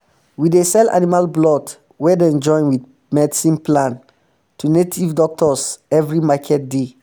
we dey sell animal blood wey dem join wit medicine plant to native doctors every market day